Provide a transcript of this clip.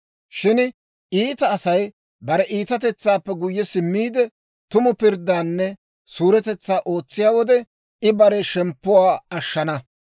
Shin iita Asay bare iitatetsaappe guyye simmiide, tumu pirddaanne suuretetsaa ootsiyaa wode, I bare shemppuwaa ashshana.